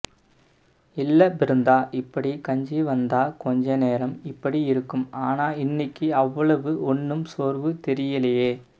இல்ல பிருந்தா இப்படி கஞ்சி வந்தா கொஞ்ச நேரம் இப்படி இருக்கும் ஆனா இன்னைக்கு அவ்வளவு ஒண்ணும் சோர்வு தெரியலே